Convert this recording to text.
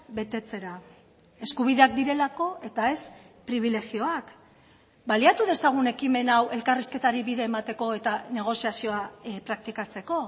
betetzera eskubideak direlako eta ez pribilegioak baliatu dezagun ekimen hau elkarrizketari bide emateko eta negoziazioa praktikatzeko